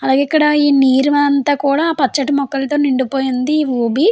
అలాగే ఇక్కడ మీరంతా పచ్చటి మొక్కలతో నిండిపోయింది. ఊబి --